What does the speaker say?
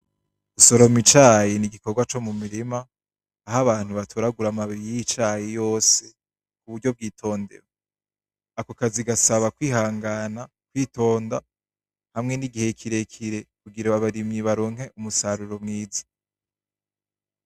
Gusoroma icayi ni igikorwa co mumurima aho abantu batoragura amababi yicayi yose kuburyo bwitondewe , ako kazi gasaba kwihangana , kwitonda hamwe nigihe kirekire kugirango abarimyi baronke umusaruro mwiza .